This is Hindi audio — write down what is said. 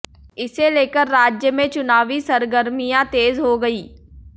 इसे लेकर राज्य में चुनावी सरगर्मियां तेज हो गई है